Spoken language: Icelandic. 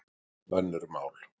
Önnur mál.